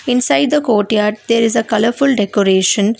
Inside the courtyard there is a colourful decoration.